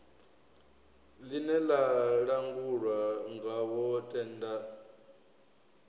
ḽine ḽa langulwa ngawo tenda